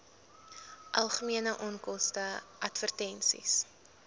algemene onkoste advertensies